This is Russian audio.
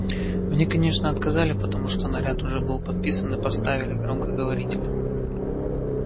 мне конечно отказали потому что наряд уже был подписан и поставили громкоговоритель